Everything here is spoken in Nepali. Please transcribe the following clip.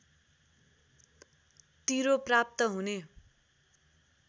तिरो प्राप्त हुने